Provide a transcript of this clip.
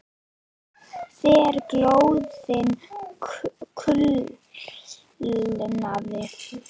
Þegar glóðin kulnaði sagði Jón